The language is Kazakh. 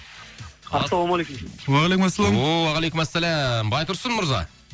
ассалаумағалейкум уағалейкумассалам ооо уағалейкумассалам байтұрсын мырза